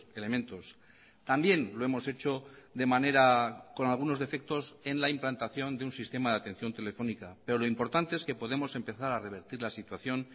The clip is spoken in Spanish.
elementos también lo hemos hecho de manera con algunos defectos en la implantación de un sistema de atención telefónica pero lo importante es que podemos empezar a revertir la situación